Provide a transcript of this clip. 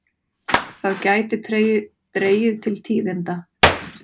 Það gæti dregið til tíðinda.